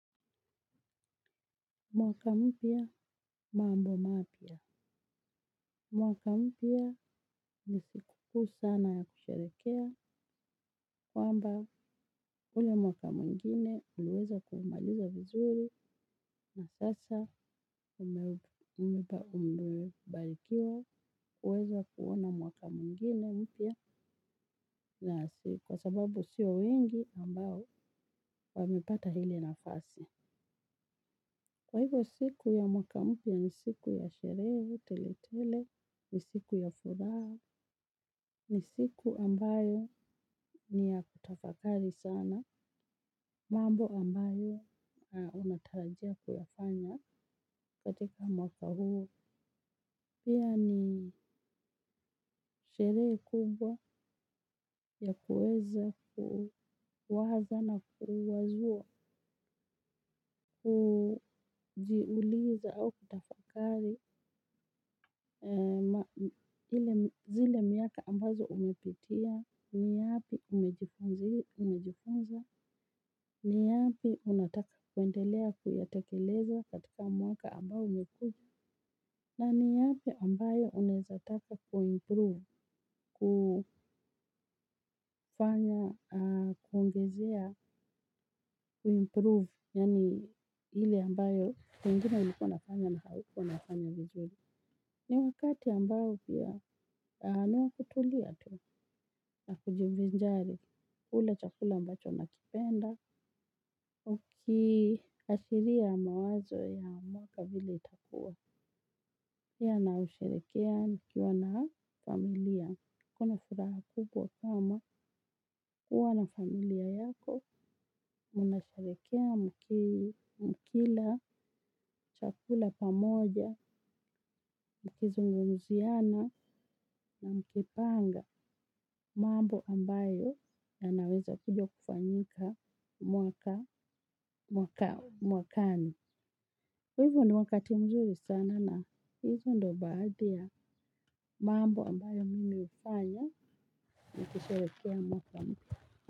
Mwaka mpya mambo mapya. Mwaka mpya ni siku kuu sana ya kusherehekea kwamba ule mwaka mwingine uliweza kumaliza vizuri na sasa umeba umebarikiwa kuweza kuona mwaka mwingine mpya na siku kwa sababu sio wengi ambao wamepata ile nafasi. Kwa hivyo siku ya mwaka mpya ni siku ya sherehe, teletele, ni siku ya furaha, ni siku ambayo ni ya kutafakari sana, mambo ambayo unayotarajia kuyafanya katika mwaka huo. Pia ni sherehe kubwa ya kuweza kuwaza na kuwazua kujiuliza au kutafakari zile miaka ambazo umepitia ni yapi umejifunza ni yapi unataka kuendelea kuyatekeleza katika mwaka ambao umekuja na ni yapi ambayo unaweza taka kuimprove, kufanya, kuongezea, kuimprove, yaani hile ambayo wengine walikuwa nafanya na haukuwa unafanya vizuri. Ni wakati ambao pia ni wa kutulia tu na kujivinjari ule chakula ambacho unakipenda, uki asiria mawazo ya mwaka vile itakua. Pia na usherehekea nikiwa na familia. Kuna furaha kubwa kama kuwa na familia yako. Mnasherehekea mkila, chakula pamoja, mkizungumziana na mkipanga. Mambo ambayo yanaweza kuja kufanyika mwaka mwakani. Hivo ni wakati mzuri sana na hizo ndo baadhi ya mambo ambayo mimi hufanya. Nikishaelekea mwaka mwaka.